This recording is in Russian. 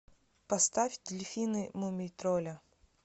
поставь дельфины мумий тролля